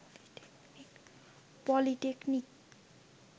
polytechnic